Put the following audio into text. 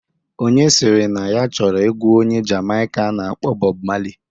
Onye sịrị na ya chọrọ egwu onye Jamaika a na-akpọ Bọb Mali